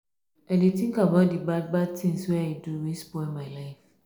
i dey tink about di bad bad tins wey i do wey spoil my life.